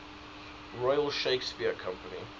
royal shakespeare company